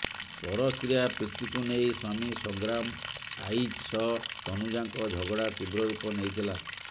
ପରକୀୟା ପ୍ରୀତିକୁ ନେଇ ସ୍ୱାମୀ ସଂଗ୍ରାମ ଆଇଚ୍ ସହ ତନୁଜାଙ୍କ ଝଗଡ଼ା ତୀବ୍ର ରୂପ ନେଇଥିଲା